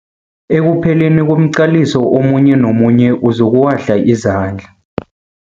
Ekupheleni komqaliso omunye nomunye uzokuwahla izandla.